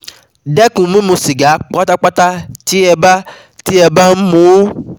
Dẹ́kun mímú sìgá pátápátá (tí ẹ bá ẹ bá ń mu ún)